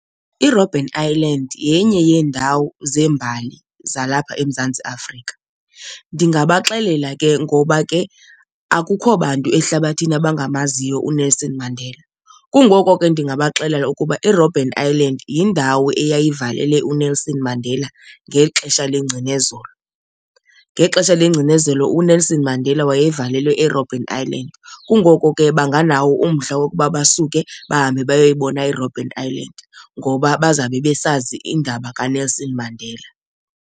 IRobben Island yenye yeendawo zembali zalapha eMzantsi Afrika. Ndingabaxelela ke ngoba ke akukho bantu ehlabathini abangamaziyo uNelson Mandela, kungoko ke ndingabaxelela ukuba iRobben Island yindawo eyayivalele uNelson Mandela ngexesha lengcinezelo. Ngexesha lengcinezelo uNelson Mandela wayevalelwe eRobben Island, kungoko ke banganawo umdla wokuba basuke bahambe bayoyibona iRobben Island ngoba bazawube besazi indaba kaNelson Mandela.